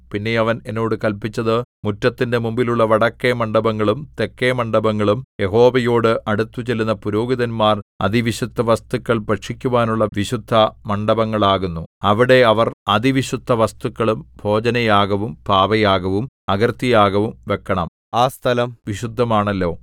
പിന്നെ അവൻ എന്നോട് കല്പിച്ചത് മുറ്റത്തിന്റെ മുമ്പിലുള്ള വടക്കെ മണ്ഡപങ്ങളും തെക്കെ മണ്ഡപങ്ങളും യഹോവയോട് അടുത്തുചെല്ലുന്ന പുരോഹിതന്മാർ അതിവിശുദ്ധവസ്തുക്കൾ ഭക്ഷിക്കുവാനുള്ള വിശുദ്ധമണ്ഡപങ്ങളാകുന്നു അവിടെ അവർ അതിവിശുദ്ധവസ്തുക്കളും ഭോജനയാഗവും പാപയാഗവും അകൃത്യയാഗവും വെക്കണം ആ സ്ഥലം വിശുദ്ധമാണല്ലോ